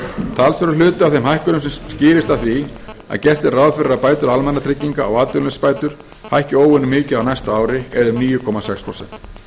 talsverður hluti af þeim hækkunum skýrist af því að gert er ráð fyrir að bætur almannatrygginga og atvinnuleysisbætur hækki óvenju mikið á næsta ári eða um níu komma sex prósent